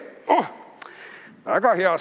Oh, väga hea!